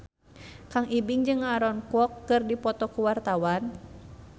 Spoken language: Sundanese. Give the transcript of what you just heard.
Kang Ibing jeung Aaron Kwok keur dipoto ku wartawan